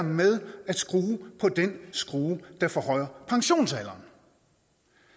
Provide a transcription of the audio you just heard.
med at skrue på den skrue der forhøjer pensionsalderen